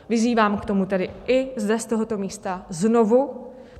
Vyzývám k tomu tedy i zde, z tohoto místa, znovu.